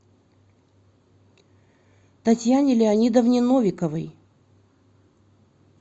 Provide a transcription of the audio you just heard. татьяне леонидовне новиковой